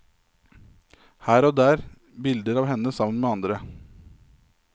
Her og der bilder av henne sammen med andre.